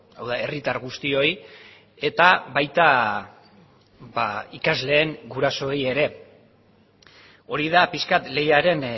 hau da herritar guztioi eta baita ikasleen gurasoei ere hori da pixka bat leiaren